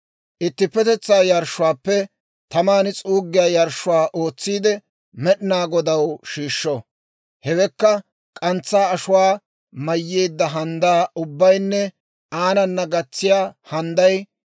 Ittippetetsaa yarshshuwaappe taman s'uuggiyaa yarshshuwaa ootsiide Med'inaa Godaw shiishsho; hewekka k'antsaa ashuwaa mayyeedda handdaa ubbaynne aanana gatsiyaa handday,